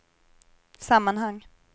sammanhang